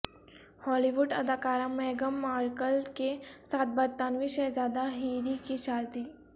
ہالی ووڈ اداکارہ میگھم مرکل کے ساتھ برطانوی شہزادہ ہیری کی شادی